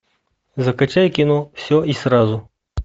закачай кино все и сразу